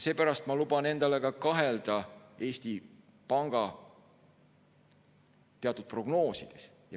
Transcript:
Seepärast ma luban endale kahelda ka Eesti Panga teatud prognoosides.